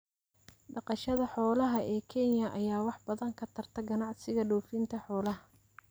Dhaqashada xoolaha ee Kenya ayaa wax badan ka tarta ganacsiga dhoofinta xoolaha.